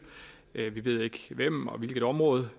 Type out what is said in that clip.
vi ved ikke hvem og hvilket område